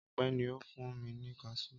Ọpẹ́ ni ó fún mi ní kaṣú.